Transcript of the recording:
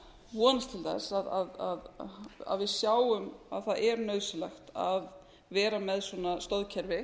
vonast til þess að við sjáum að það er nauðsynlegt að vera með svona stoðkerfi